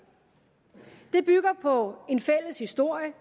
det bygger på en fælles historie